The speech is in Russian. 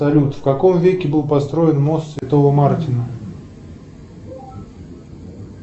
салют в каком веке был построен мост святого мартина